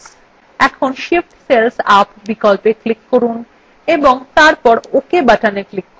এখন shift cells up বিকল্পে click করুন এবং তারপর ok button click করুন